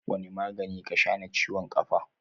Wani magani ka shaa na ciwon kafa?